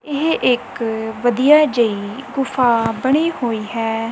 ਇਹ ਇੱਕ ਵਧੀਆ ਜਿਹੀ ਗੁਫਾ ਬਣੀ ਹੋਈ ਹੈ।